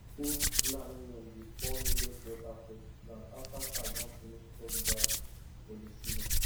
old fulani men dey pour millet water for ground after cow don finish chop grass for di season